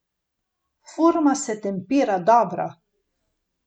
Forma se tempira dobro.